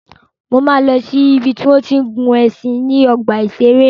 Máa lọ si ìbi tí wọ́n tí ń gun ẹṣin níbi ọgbà ìṣẹ̀rẹ́.